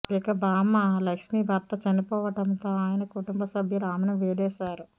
ఇక బామ్మ లక్ష్మీ భర్త చనిపోవడంతో ఆయన కుటుంబ సభ్యులు ఆమెను వెలేశారు